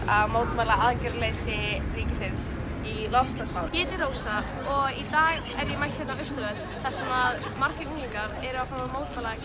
að mótmæla aðgerðarleysi ríkisins í loftslagsmálum ég heiti Rósa og í dag er ég mætt hérna á Austurvöll þar sem margir unglingar eru að fara mótmæla